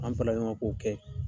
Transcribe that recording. An farala ɲɔgɔn kan ko kɛ.